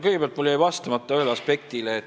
Kõigepealt, mul jäi vastamata ühele aspektile.